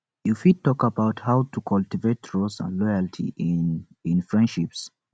you fit talk about how to cultivate trust and loyalty in in friendships